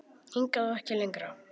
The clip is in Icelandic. Hingað og ekki lengra.